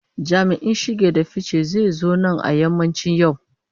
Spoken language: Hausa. Jami'in shige da fice zai zo nan a yammacin yau.